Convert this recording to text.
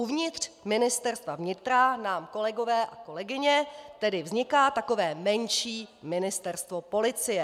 Uvnitř Ministerstva vnitra nám, kolegové a kolegyně, tedy vzniká takové menší ministerstvo policie.